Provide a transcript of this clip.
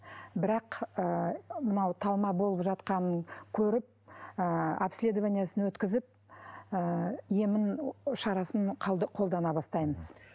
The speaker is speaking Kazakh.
бірақ ы мынау талма болып жатқанын көріп ы обследованиесін өткізіп ы емін шарасын қолдана бастаймыз